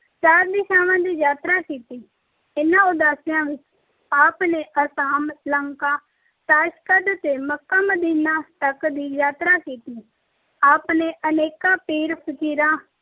ਚਾਰ ਦਿਸ਼ਾਵਾਂ ਦੀ ਯਾਤਰਾ ਕੀਤੀ। ਇਹਨਾਂ ਉਦਾਸੀਆਂ ਵਿੱਚ ਆਪ ਨੇ ਅਸਾਮ, ਲੰਕਾ, ਤਾਸ਼ਕੰਦ ਤੇ ਮੱਕਾ-ਮਦੀਨਾ ਤੱਕ ਦੀ ਯਾਤਰਾ ਕੀਤੀ। ਆਪ ਨੇ ਅਨੇਕਾਂ ਪੀਰਾਂ, ਫ਼ਕੀਰਾਂ,